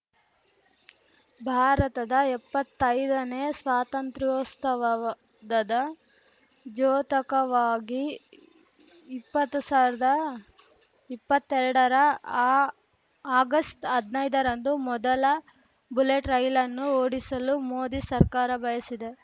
ಭಾರತದ ಎಪ್ಪತ್ತೈದನೇ ಸ್ವಾತಂತ್ರ್ಯೋಸ್ತವವದದ ದ್ಯೋತಕವಾಗಿ ಇಪ್ಪತ್ತು ಸಾವಿರದ ಇಪ್ಪತ್ತೆರಡರ ಆ ಆಗಸ್ಟ್ ಹದ್ನೈದರಂದು ಮೊದಲ ಬುಲೆಟ್‌ ರೈಲನ್ನು ಓಡಿಸಲು ಮೋದಿ ಸರ್ಕಾರ ಬಯಸಿದೆ